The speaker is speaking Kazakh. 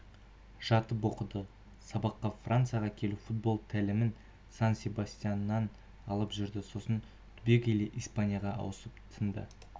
жатып оқыды сабаққа францияға келіп футбол тәлімін сан-себастьяннан алып жүрді сосын түбегейлі испанияға ауысып тынды